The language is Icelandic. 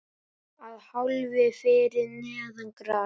Að hálfu fyrir neðan gras.